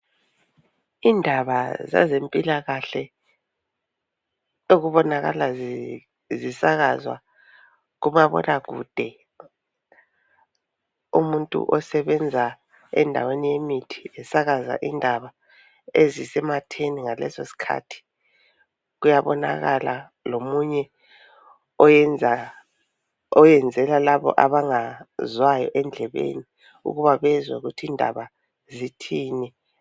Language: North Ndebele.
Indaba zezèmpilakahle okubonakala zisakazwa kumabonakude. Umuntu osebenza endaweni yemithi esakaza indaba ezisematheni ngalesosikhathi. Kuyabonakala lomunye oyenzela labo abangazwayo endlebeni ukuba bezwe ukuthi indaba zithini.